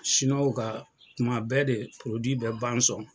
ka tuma bɛɛ de bɛ ban sɔn.